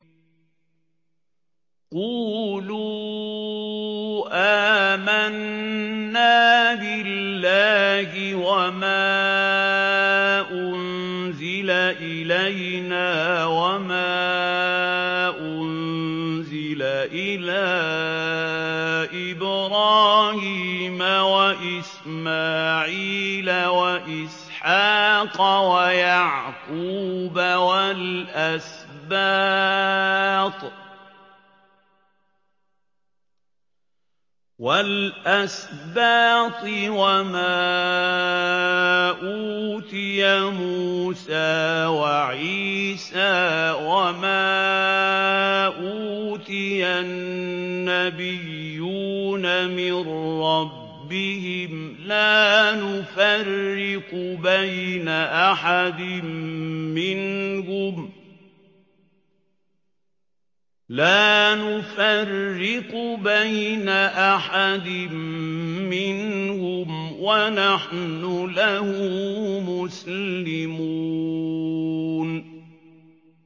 قُولُوا آمَنَّا بِاللَّهِ وَمَا أُنزِلَ إِلَيْنَا وَمَا أُنزِلَ إِلَىٰ إِبْرَاهِيمَ وَإِسْمَاعِيلَ وَإِسْحَاقَ وَيَعْقُوبَ وَالْأَسْبَاطِ وَمَا أُوتِيَ مُوسَىٰ وَعِيسَىٰ وَمَا أُوتِيَ النَّبِيُّونَ مِن رَّبِّهِمْ لَا نُفَرِّقُ بَيْنَ أَحَدٍ مِّنْهُمْ وَنَحْنُ لَهُ مُسْلِمُونَ